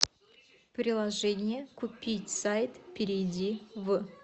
приложение купить сайт перейди в